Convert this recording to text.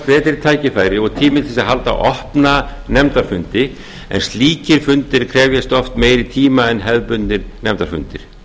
betri tækifæri og tími til að halda opna nefndafundi en slíkir fundir krefjast oft meiri tíma en hefðbundnir nefndafundir